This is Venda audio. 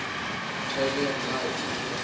thaidzo ya mulayo ine na